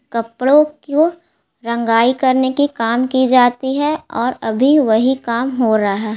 कपड़ों को रंगाई करने के काम किए जाती है और अभी वही काम हो रहा है।